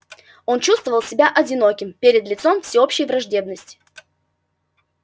он чувствовал себя одиноким перед лицом всеобщей враждебности